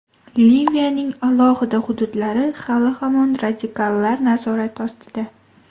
Liviyaning alohida hududlari hali-hamon radikallar nazorati ostida.